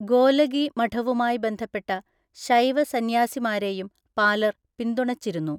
ഗോലഗി മഠവുമായി ബന്ധപ്പെട്ട ശൈവ സന്യാസിമാരെയും പാലർ പിന്തുണച്ചിരുന്നു.